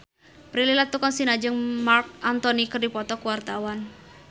Prilly Latuconsina jeung Marc Anthony keur dipoto ku wartawan